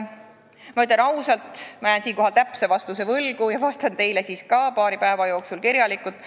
Ma ütlen ausalt, et jään siinkohal täpse vastuse võlgu ja vastan ka teile paari päeva jooksul kirjalikult.